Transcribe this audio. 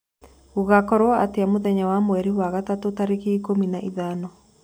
gugakorwo atĩa mũthenya wa mwerĩ wa gatatu tarĩkĩ ikumi na ithano